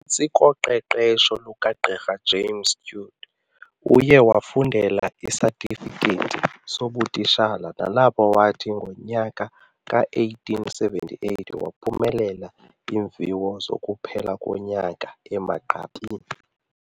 Phantsi koqeqesho lukaGqirha James Stewart, uye wafundela isatifiketi sobutitshala nalapho wathi ngonyaka ka-1878 waphumelela iimviwo zokuphela konyaka emagqabini.